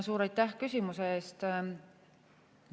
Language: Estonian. Suur aitäh küsimuse eest!